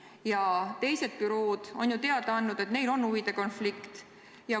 Ja teised bürood on teada andnud, et neil on huvide konflikt.